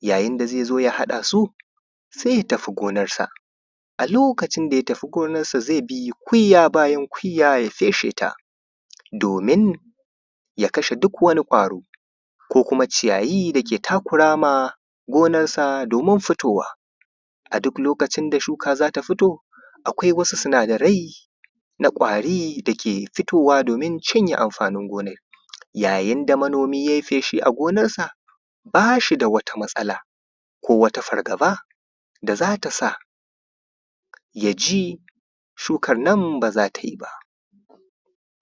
yayin da zai zo ya haɗa su sai ya tafi gonarsa a lokacin da ya tafi gonarsa zai bi kuyya bayan kuyya ya feshe ta domin ya kashe duk wani ƙwaro ko kuma ciyayi da ke takura wa gonarsa domin fitowa a duk lokacin da shuka za ta fito akwai wasu sinadarai na ƙwari dake fitowa domin cinye amfanin gonar yayin da manomi yai feshi a gonarsa ba shi da wata matsala ko wata fargaba da za ta sa ya ji shukar nan ba za ta yi ba